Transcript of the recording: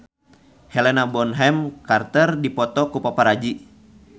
Helena Bonham Carter dipoto ku paparazi